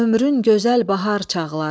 Gəldi ömrün gözəl bahar çağları.